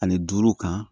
Ani duuru kan